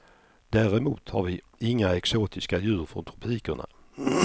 Däremot har vi inga exotiska djur från tropikerna.